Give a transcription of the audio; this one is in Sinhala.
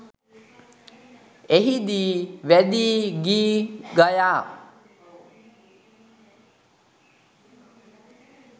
එහිදී වැදි ගී ගයා